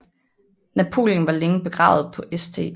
Napoleon var længe begravet på St